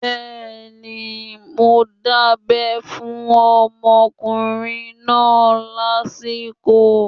Bẹ́ẹ̀ni, mo dábẹ́ fún ọmọkùnrin náà lásìkò